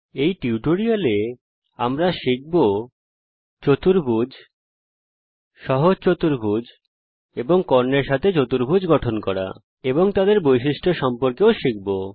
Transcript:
এই টিউটোরিয়াল এ আমরা চতুর্ভুজ সহজ চতুর্ভুজ কর্ণের সঙ্গে চতুর্ভুজ গঠন করা শিখব এবং এছাড়াও তাদের বৈশিষ্ট্যাবলী সম্পর্কেও শিখব